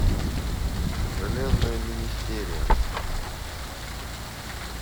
железная министерия